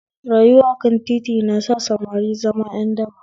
Rayuwa akan titi na sa samari zama ƴan daba